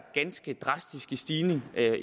ganske drastiske stigning